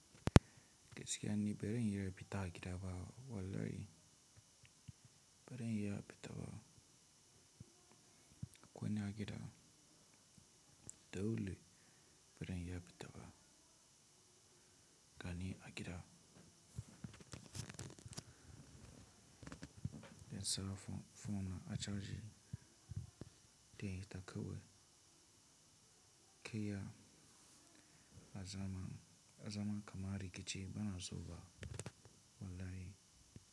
Gaskiya ni, bazan diya fita a gida ba. Wallahi bazan iya fitan ba, kwanan gida. Dole bazan diya fita ba gani a gida. Zan sa fon na a caji, dai ta kawai, kaiya zaman kamar rikici bana so ba wallahi.